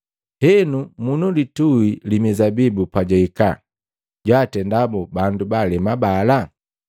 “Henu, munilitui li mizabibu pajwihika, jwaatenda boo bandu baalema bala?”